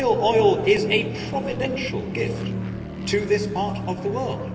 Shale oil is a providential gift to this part of the world.